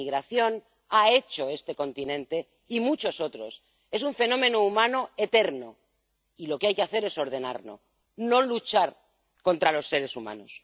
La inmigración ha hecho este continente y muchos otros, es un fenómeno humano eterno, y lo que hay que hacer es ordenarlo, no luchar contra los seres humanos.